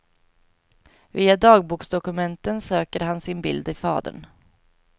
Via dagboksdokumenten söker han sin bild i fadern.